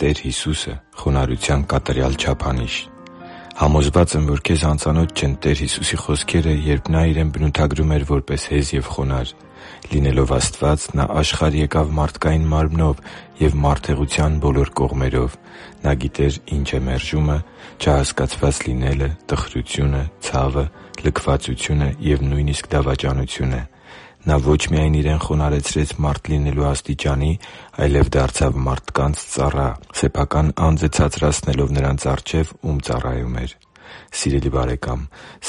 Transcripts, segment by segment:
Տեր Հիսուսը՝ խոնարհության կատարյալ չափանիշ Համոզված եմ, որ քեզ անծանոթ չեն Տեր Հիսուսի խոսքերը, երբ Նա Իրեն բնութագրում էր որպես հեզ և խոնարհ։ Լինելով Աստված՝ Նա աշխարհ եկավ մարդկային մարմնով և մարդեղության բոլոր կողմերով: Նա գիտեր՝ ինչ է մերժումը, չհասկացված լինելը, տխրությունը, ցավը, լքվածությունը և նույնիսկ՝ դավաճանությունը: Նա ոչ միայն Իրեն խոնարհեցրեց մարդ լինելու աստիճան, այլև դարձավ մարդկանց ծառան՝ սեփական անձը ցածրացնելով նրանց առջև, ում ծառայում էր: Սիրելի՛ բարեկամ,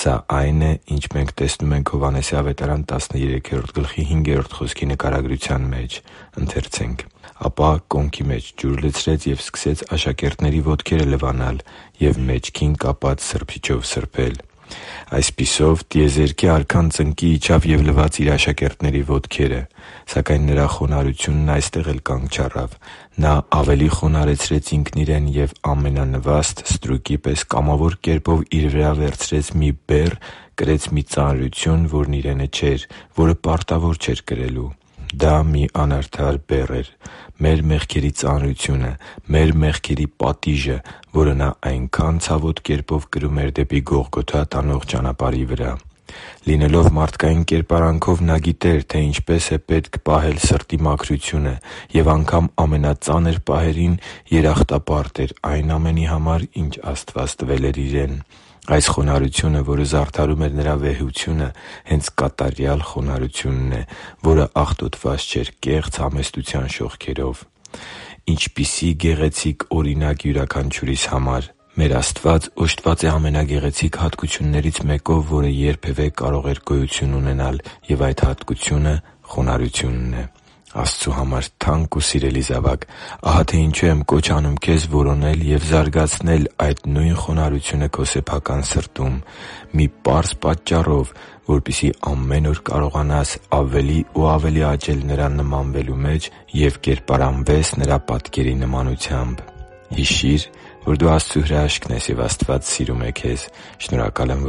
սա այն է, ինչ մենք տեսնում ենք Հովհաննես 13.5 խոսքի նկարագրության մեջ. «Ապա կոնքի մեջ ջուր լցրեց ու սկսեց աշակերտների ոտքերը լվանալ և մեջքին կապած սրբիչով սրբել»։ Այսպիսով, տիեզերքի Արքան ծնկի իջավ և լվաց Իր աշակերտների ոտքերը։ Սակայն Նրա խոնարհությունն այստեղ էլ կանգ չառավ։ Նա ավելի խոնարհեցրեց Ինքն Իրեն և ամենանվաստ ստրուկի պես կամավոր կերպով Իր վրա վերցրեց մի բեռ, կրեց մի ծանրություն, որն Իրենը չէր, որը պարտավոր չէր կրել։ Դա մի անարդար բեռ էր՝ մեր մեղքերի ծանրությունը, մեր մեղքերի պատիժը, որը Նա այնքա՜ն ցավոտ կերպով կրում էր դեպի Գողգոթա տանող ճանապարհի վրա։ Լինելով մարդկային կերպարանքով՝ Նա գիտեր, թե ինչպես է պետք պահել սրտի մաքրությունը, և անգամ ամենածանր պահերին երախտապարտ էր այն ամենի համար, ինչ Աստված տվել էր Իրեն։ Այս խոնարհությունը, որը զարդարում էր Նրա վեհությունը, հենց կատարյալ խոնարհությունն է, որը աղտոտված չէր կեղծ համեստության շողքերով։ Ինչպիսի՜ գեղեցիկ օրինակ յուրաքանչյուրիս համար․.. Մեր Աստված օժտված է ամենագեղեցիկ հատկություններից մեկով, որը երբևէ կարող էր գոյություն ունենալ, և այդ հատկությունը խոնարհությունն է: Աստծու համար թանկ ու սիրելի՛ զավակ, ահա թե ինչու եմ կոչ անում քեզ որոնել և զարգացնել այդ նույն խոնարհությունը քո սեփական սրտում..․ Մի պարզ պատճառով՝ որպեսզի ամեն օր կարողանաս ավելի ու ավելի աճել Նրան նմանվելու մեջ և կերպարանվես Նրա պատկերի նմանությամբ։ Հիշի՛ր, որ դու Աստծո հրաշքն ես, և Աստված սիրում է քեզ։ Շնորհակալ եմ,